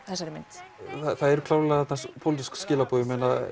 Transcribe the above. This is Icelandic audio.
þessari mynd það eru klárlega þarna pólitísk skilaboð